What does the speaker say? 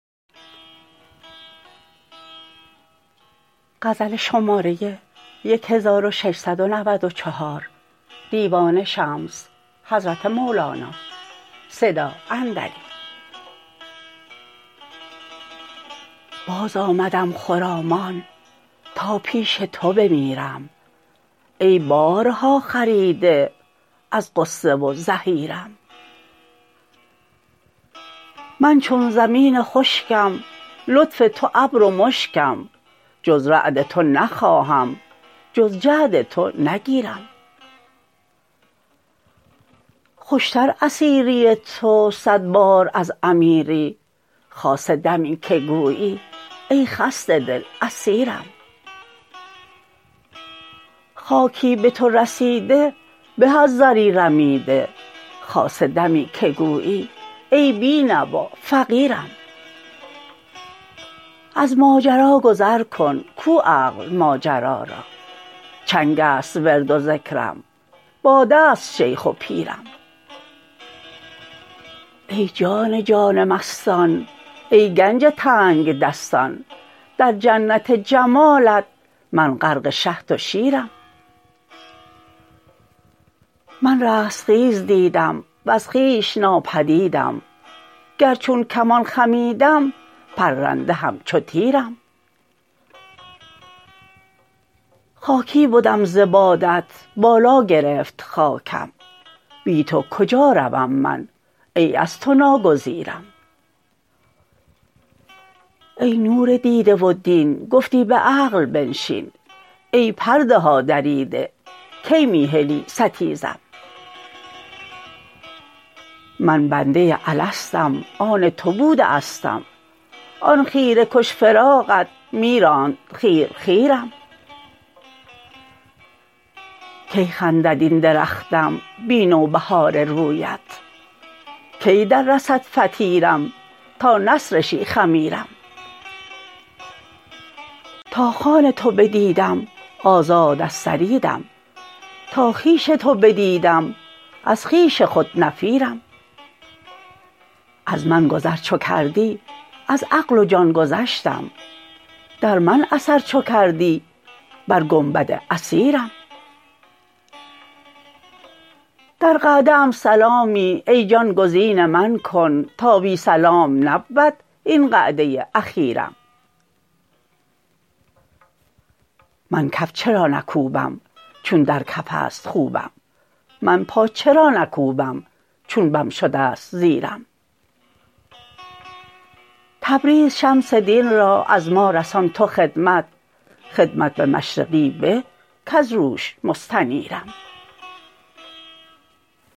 بازآمدم خرامان تا پیش تو بمیرم ای بارها خریده از غصه و زحیرم من چون زمین خشکم لطف تو ابر و مشکم جز رعد تو نخواهم جز جعد تو نگیرم خوشتر اسیری تو صد بار از امیری خاصه دمی که گویی ای خسته دل اسیرم خاکی به تو رسیده به از زری رمیده خاصه دمی که گویی ای بی نوا فقیرم از ماجرا گذر کن گو عقل ماجرا را چنگ است ورد و ذکرم باده ست شیخ و پیرم ای جان جان مستان ای گنج تنگدستان در جنت جمالت من غرق شهد و شیرم من رستخیز دیدم وز خویش نابدیدم گر چون کمان خمیدم پرنده همچو تیرم خاکی بدم ز بادت بالا گرفت خاکم بی تو کجا روم من ای از تو ناگزیرم ای نور دیده و دین گفتی به عقل بنشین ای پرده ها دریده کی می هلی ستیزم من بنده الستم آن تو بوده استم آن خیره کش فراقت می راند خیر خیرم کی خندد این درختم بی نوبهار رویت کی دررسد فطیرم تا نسرشی خمیرم تا خوان تو بدیدم آزاد از ثریدم تا خویش تو بدیدم از خویش خود نفیرم از من گذر چو کردی از عقل و جان گذشتم در من اثر چو کردی بر گنبد اثیرم در قعده ام سلامی ای جان گزین من کن تا بی سلام نبود این قعده اخیرم من کف چرا نکوبم چون در کف است خوبم من پا چرا نکوبم چون بم شده ست زیرم تبریز شمس دین را از ما رسان تو خدمت خدمت به مشرقی به کز روش مستنیرم